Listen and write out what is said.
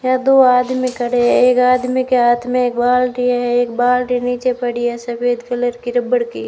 यह दो आदमी खड़े हैं एक आदमी के हाथ में एक बाल्टी है एक बाल्टी नीचे पड़ी है सफेद कलर की रबड़ की।